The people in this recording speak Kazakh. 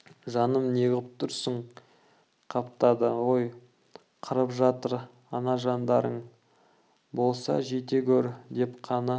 жаным неғып тұрсың қаптады ғой қырып жатыр ана жандарың болса жете гөр деп қаны